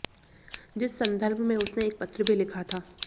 जिस सन्दर्भ में उसने एक पत्र भी लिखा था